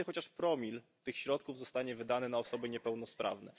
Kiedy chociaż promil tych środków zostanie wydany na osoby niepełnosprawne?